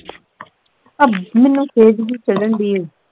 ਅਬ ਮੈਨੂੰ ਖਿਝ ਜਿਹੀ ਚੜ੍ਹਨ ਢਈ ਐ